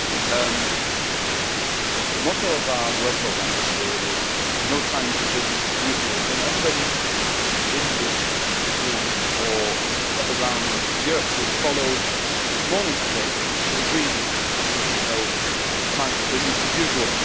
Mr President, the motto of our Work Programme this year is no time for business as usual' and anybody in this room or around Europe who has followed this morning's debate will agree with me that this is no time for business as usual.